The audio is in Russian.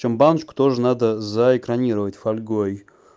чём баночку тоже надо за экранировать фольгой